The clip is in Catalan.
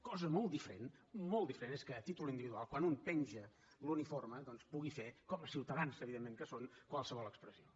cosa molt diferent molt diferent és que a títol individual quan un penja l’uniforme doncs pugui fer com a ciutadans evidentment que són qualsevol expressió